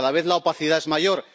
Cada vez la opacidad es mayor.